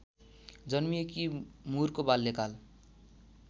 जन्मिएकी मुरको बाल्यकाल